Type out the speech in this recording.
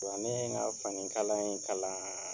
Wa ne ye n ka fanikalan in kalan